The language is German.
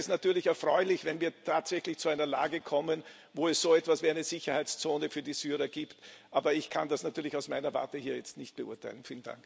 Allerdings wäre es natürlich erfreulich, wenn wir tatsächlich zu einer Lage kommen, wo es so etwas wie eine Sicherheitszone für die Syrer gibt. Aber ich kann das natürlich aus meiner Warte hier jetzt nicht beurteilen.